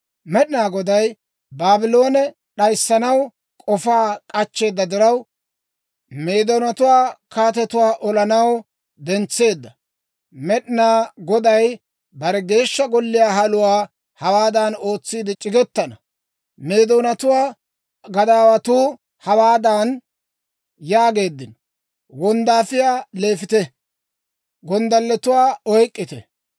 Med'inaa Goday Baabloone d'ayissanaw k'ofaa k'achcheeda diraw, Meedoonatuwaa kaatetuwaa olaw dentseedda; Med'inaa Goday bare Geeshsha Golliyaa haluwaa hawaadan ootsiide c'igetana. Meedoonatuwaa gadaawatuu hawaadan yaageeddino; «Wonddaafiyaa leefite; gonddalletuwaa oyk'k'ite!